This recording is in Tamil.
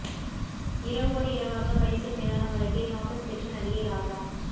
இரவோடு இரவாக பைசூல் மீதான வழக்கை வாபஸ் பெற்ற நடிகை ராதா